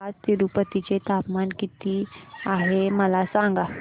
आज तिरूपती चे तापमान किती आहे मला सांगा